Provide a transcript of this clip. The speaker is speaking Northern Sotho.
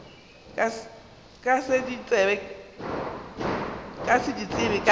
ka se di tsebe ka